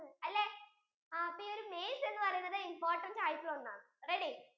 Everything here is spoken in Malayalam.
അല്ലെ അപ്പൊ ഈ maize എന്ന് പറയുന്നത് important ആയിട്ടുള്ള ഒന്നാണ് ready